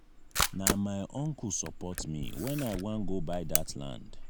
na my uncle support me wen i wan go buy dat land.